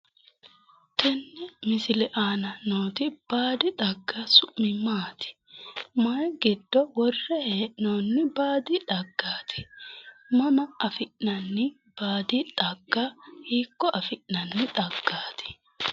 tenne misile aana nooti baadi xagga su'mi maati? mayi giddo worre hee'noonni baadi xaggaati? mama affi'nanni baadi xagga hiikko affi'naani xaggaati?